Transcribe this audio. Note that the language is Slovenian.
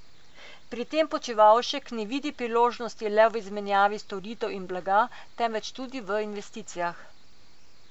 Pri tem Počivlašek ne vidi priložnosti le v izmenjavi storitev in blaga, temveč tudi v investicijah.